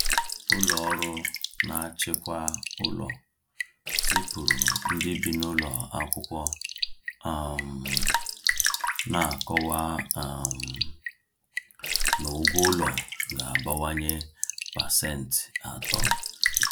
Ụlọ ọrụ na-achịkwa ụlọ zipụrụ ndị bi n’ụlọ akwụkwọ um na-akọwa um na ụgwọ ụlọ ga-abawanye pasent atọ.